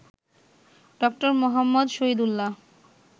Dr Muhammad Shahidullah